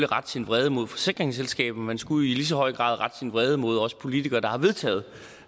rette sin vrede mod forsikringsselskabet men man skulle i lige så høj grad rette sin vrede mod os politikere der har vedtaget